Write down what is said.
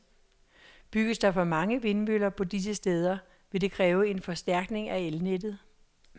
Bygges der for mange vindmøller på disse steder, vil det kræve en forstærkning af elnettet.